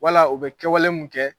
Wala u bɛ kɛwale min kɛ